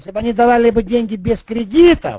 если бы они давали бы деньги без кредита